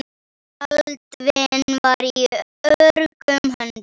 Baldvin var í öruggum höndum.